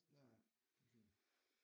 Ja ja det er fint